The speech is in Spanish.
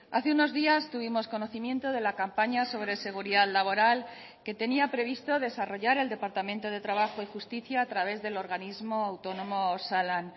hace unos días tuvimos conocimiento de la campaña sobre seguridad laboral que tenía previsto desarrollar el departamento de trabajo y justicia a través del organismo autónomo osalan